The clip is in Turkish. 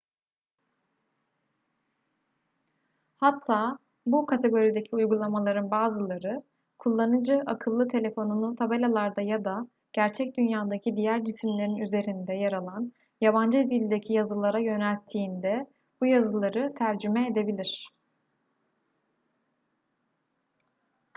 hatta bu kategorideki uygulamaların bazıları kullanıcı akıllı telefonunu tabelalarda ya da gerçek dünyadaki diğer cisimlerin üzerinde yer alan yabancı dildeki yazılara yönelttiğinde bu yazıları tercüme edebilir